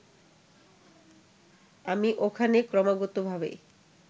আমি ওখানে ক্রমাগতভাবে